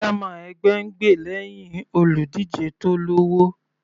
Chairman ẹgbẹ́ ń gbè lẹ́hìn olùdíje tó lọ́wọ́.